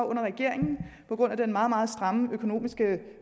under regeringen på grund af den meget meget stramme økonomiske